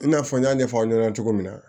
I n'a fɔ n y'a ɲɛfɔ aw ɲɛna cogo min na